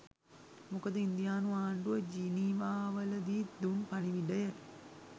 මොකද ඉන්දියානු ආණ්ඩුව ජිනීවාවලදී දුන් පණිවිඩය